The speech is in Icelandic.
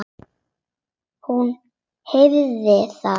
Hún heyrir það.